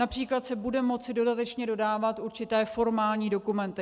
Například se bude moci dodatečně dodávat určité formální dokumenty.